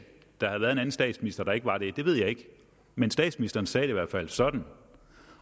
der havde været en anden statsminister der ikke var det det ved jeg ikke men statsministeren sagde det i hvert fald sådan